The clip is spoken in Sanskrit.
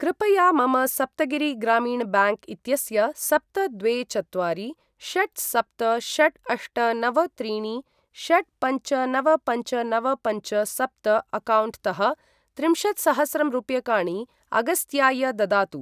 कृपया मम सप्तगिरि ग्रामीण ब्याङ्क् इत्यस्य सप्त द्वे चत्वारि षट् सप्त षट् अष्ट नव त्रीणि षट् पञ्च नव पञ्च नव पञ्च सप्त अक्कौण्ट् तः त्रिंशत्सहस्रं रूप्यकाणि अगस्त्याय ददातु।